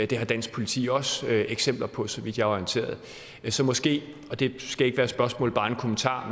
det har dansk politi også eksempler på så vidt jeg er orienteret så måske og det skal ikke være et spørgsmål bare en kommentar